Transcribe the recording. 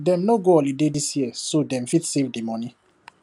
dem no go holiday this year so dem fit save the money